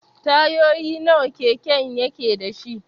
Tayoyi nawa keken yake dashi?